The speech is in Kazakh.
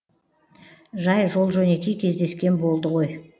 жай жол жөнекей кездескен болды ғой